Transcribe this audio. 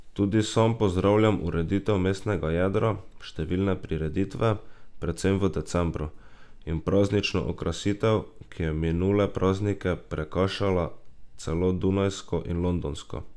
Tudi sam pozdravljam ureditev mestnega jedra, številne prireditve, predvsem v decembru, in praznično okrasitev, ki je minule praznike prekašala celo dunajsko in londonsko.